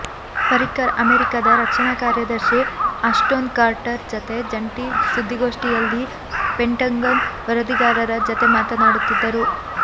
ಪರಿಕ್ಕರ್ ಅಮೆರಿಕದ ರಕ್ಷಣಾ ಕಾರ್ಯದರ್ಶಿ ಆಶ್ಟೋನ್ ಕಾರ್ಟರ್ ಜತೆ ಜಂಟಿ ಸುದ್ದಿಗೋಷ್ಠಿಯಲ್ಲಿ ಪೆಂಟಗನ್ ವರದಿಗಾರರ ಜತೆ ಮಾತನಾಡುತ್ತಿದ್ದರು